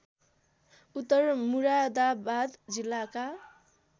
उत्तर मुरादाबाद जिल्लाका